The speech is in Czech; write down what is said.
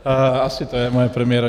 Asi to je moje premiéra.